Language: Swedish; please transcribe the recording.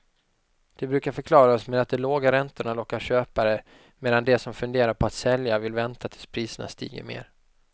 Det brukar förklaras med att de låga räntorna lockar köpare medan de som funderar på att sälja vill vänta tills priserna stiger mer.